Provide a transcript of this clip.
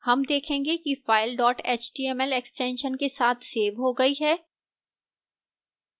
हम देखते हैं कि file dot html extension के साथ सेव हो गई है